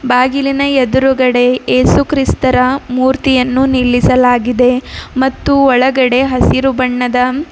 ಬಾಗಿಲಿನ ಎದುರುಗಡೆ ಏಸುಕ್ರಿಸ್ತರ ಮೂರ್ತಿಯನ್ನು ನಿಲ್ಲಿಸಲಾಗಿದೆ ಮತ್ತು ಒಳಗಡೆ ಹಸಿರು ಬಣ್ಣದ--